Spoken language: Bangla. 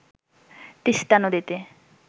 তিস্তা নদীতে